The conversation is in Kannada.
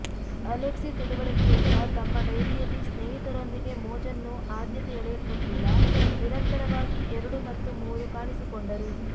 ಅಲೆಕ್ಸಿ ತಿಳಿವಳಿಕೆಯಿಂದ ತಮ್ಮ ಡೈರಿಯಲ್ಲಿ ಸ್ನೇಹಿತರೊಂದಿಗೆ ಮೋಜನ್ನು ಆದ್ಯತೆ ಎಳೆಯಲ್ಪಟ್ಟಿಲ್ಲ ನಿರಂತರವಾಗಿ ಎರಡು ಮತ್ತು ಮೂರು ಕಾಣಿಸಿಕೊಂಡರು